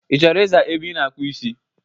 Ị chọrọ ị zaa ebe ị na-akpụ isi?